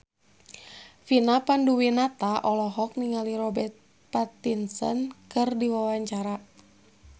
Vina Panduwinata olohok ningali Robert Pattinson keur diwawancara